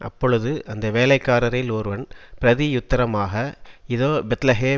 அப்பொழுது அந்த வேலைக்காரரில் ஒருவன் பிரதியுத்தரமாக இதோ பெத்லெகே